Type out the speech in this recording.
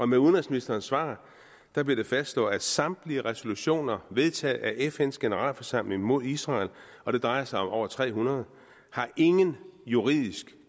med udenrigsministerens svar bliver det fastslået at samtlige resolutioner vedtaget af fns generalforsamling mod israel og det drejer sig om over tre hundrede ingen juridisk